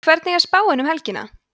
hvernig er spáin fyrir helgina